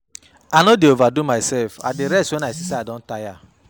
I no dey over-do mysef, I dey rest wen I see sey I don tire.